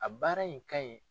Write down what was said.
A baara in ka ɲi.